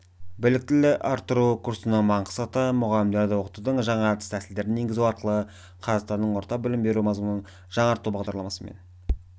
біліктілікті арттыру курсының мақсаты мұғалімдерді оқытудың жаңа әдіс-тәсілдерін енгізу арқылы қазақстанның орта білім беру мазмұнын жаңарту бағдарламасымен